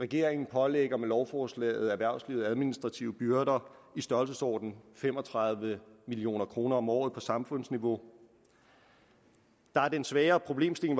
regeringen pålægger med lovforslaget erhvervslivet administrative byrder i størrelsesordenen fem og tredive million kroner om året på samfundsniveau der er den sværere problemstilling